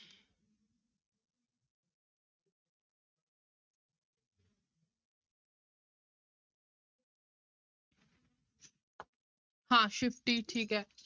ਹਾਂ shifty ਠੀਕ ਹੈ।